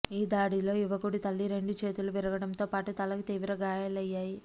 ఈ దాడిలో యువకుడి తల్లి రెండు చేతులు విరగటంతో పాటు తలకు తీవ్ర గాయాలయ్యాయి